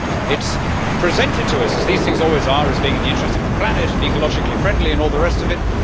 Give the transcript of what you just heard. It is presented to us, as these things always are, as being in the interests of the planet and ecologically friendly and all the rest of it.